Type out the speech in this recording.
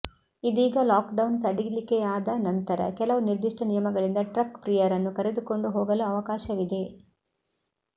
ಇದೀಗ lockdown ಸಡಿಲಿಕೆಯಾದ ನಂತರ ಕೆಲವು ನಿರ್ದಿಷ್ಟ ನಿಯಮಗಳಿಂದ ಟ್ರಕ್ ಪ್ರಿಯರನ್ನು ಕರೆದುಕೊಂಡು ಹೋಗಲು ಅವಕಾಶವಿದೆ